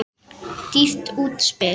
Dýrt útspil.